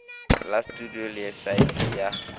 la studio le saete ya